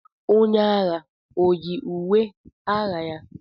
Onye agha o yi uwe agha ya?